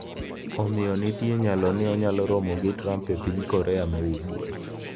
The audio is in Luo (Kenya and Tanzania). Omiyo nitie nyalo mar ni onyalo romo gi Trump e piny Korea ma Ugwe.